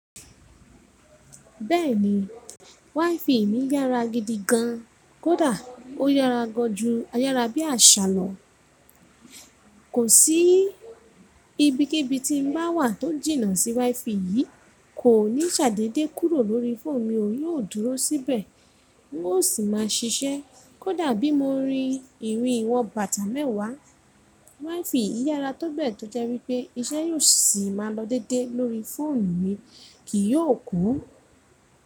Bẹ́ẹ̀ni, WiFi mií yára gidi gan, kódà ó yára gan ju ayára bí àṣà lọ. Kò sí ibi kíbi tí n bá wà tó jìnnà sí WiFi yìí, kò ní ṣàdédé kúrò lórí fóònù mi ó yóò dúró síbẹ̀, n ó sì máa ṣiṣẹ́. Kódà bí mo ba rí ìrìn ìwọn bàtà mẹ́wàá, WiFi yára tó bẹ́ẹ̀ tó jẹ́ wípé iṣẹ́ yóò sì máa lọ déédé lórí fóònù mi, kì yóò kú.